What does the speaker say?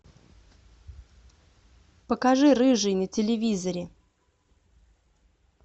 покажи рыжий на телевизоре